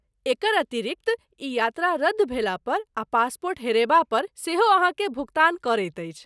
एकर अतिरिक्त ई यात्रा रद्द भेलापर आ पासपोर्ट हेरयबापर सेहो अहाँकेँ भुगतान करैत अछि।